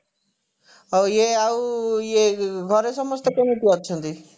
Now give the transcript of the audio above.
ହଉ ଇଏ ଆଉ ଇଏ ଘରେ ସମସ୍ତେ କେମିତି ଅଛନ୍ତି